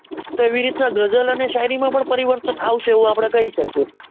તો એવી રીત નાં ગઝલ અને શાયરી માં પણ પરિવર્તન આવશે એવું અઆપડે કહી શકીએ.